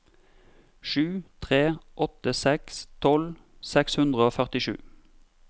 sju tre åtte seks tolv seks hundre og førtisju